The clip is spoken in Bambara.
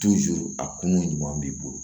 a kungo ɲuman b'i bolo